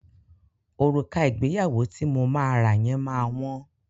Òrùka ìgbéyàwó ti mo máa rà yẹn ma wọ́n.